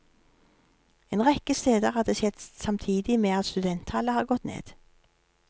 En rekke steder har det skjedd samtidig med at studenttallet har gått ned.